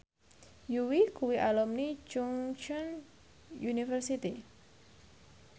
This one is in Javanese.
Yui kuwi alumni Chungceong University